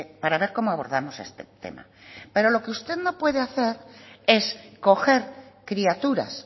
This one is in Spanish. para ver cómo abordamos este tema pero lo que usted no puede hacer es coger criaturas